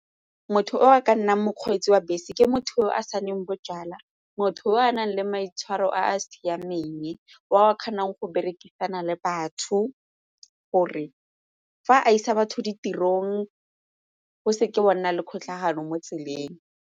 Motho o a ka nnang mokgweetsi wa bese, ke motho o a saenneng bojalwa motho o a nang le maitshwaro a a siameng o kgonang go berekisana le batho gore fa a isa batho ditirong go se ke wa nna le kgotlhangano mo tseleng.